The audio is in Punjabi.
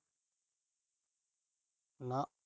ਨਾ